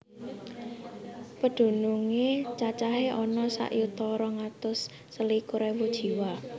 Pedunungé cacahé ana sak yuta rong atus selikur ewu jiwa